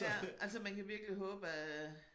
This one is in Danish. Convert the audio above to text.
Ja altså man kan virkelig håbe at øh